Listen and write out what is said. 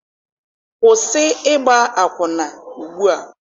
Kwụsị ịgba akwụna ugbua!